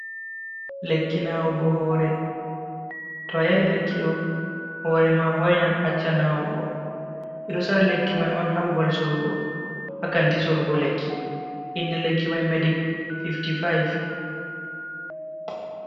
Lekki nawugo hore. To a yari lekki ɗo hore ma hoinan accan nawugo, ɓe ɗo sora lekki mai on haa babal sorugo hakanti sorugo lekki inde lekki mai medic five-five.